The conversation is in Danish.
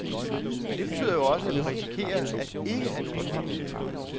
Men det betyder jo også, at vi risikerer at ikke have nogle penge.